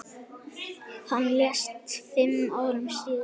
Hann lést fimm árum síðar.